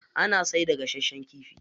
Ana siyarda gasashen kifi.